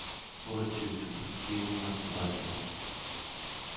otteogtyve tusind fire hundrede og tooghalvfjerds